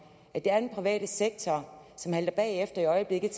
at det er den private sektor som halter bagefter i øjeblikket